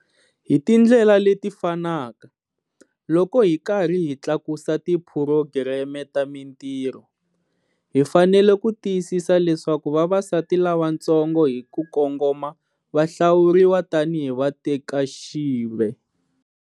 Hi tindlela leti fanaka, loko hi karhi hi tlakusa tiphurogireme ta mintirho, hi fanele ku tiyisisa leswaku vavasati lavantsongo hi ku kongoma va hlawuriwa tanihi vatekaxive.